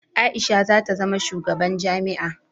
Aisha zata zama shugaban jami'a